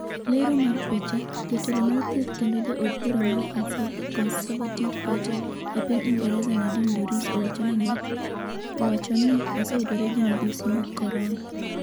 Lero mar picha, Jatelo mar Thieth kendo Ja Od Bura mar Conservative Party e piny Ingresa Nadine Dorries owacho ni oseyudore gi midhusi mag korona .